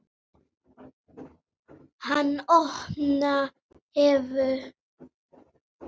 Hann opna hefur búð.